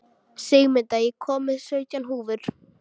Sigmunda, ég kom með sautján húfur!